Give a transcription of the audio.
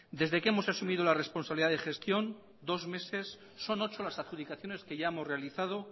desde que hemos asumido la responsabilidad de gestión dos meses son ocho las adjudicaciones que ya hemos realizado